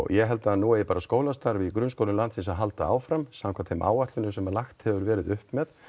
ég held að skólastarfið í grunnskólum landsins ætti að halda áfram samkvæmt þeim áætlunum sem lagt hefur verið upp með